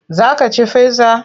Za ka ci pizza?